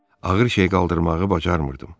Ağır şey qaldırmağı bacarmırdım.